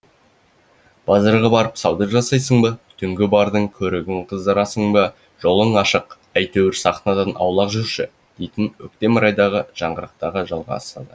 базарға барып сауда жасайсың ба түнгі бардың көрігін қыздырасың ба жолың ашық әйтеуір сахнадан аулақ жүрші дейтін өктем райдағы жаңғырықтарға жалғасады